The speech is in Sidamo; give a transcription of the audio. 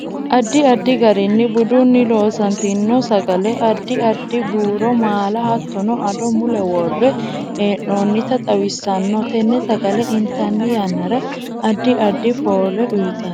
Addi addi garinni budunni loosantino sagale addi addire buuro maala hattono addo mule worre heenoonita xawissanno tene sagale intanni yannara addi addi foole uyiitanno